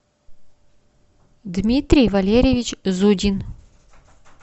дмитрий валерьевич зудин